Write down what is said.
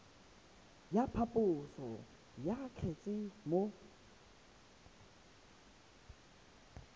ya phaposo ya kgetse mo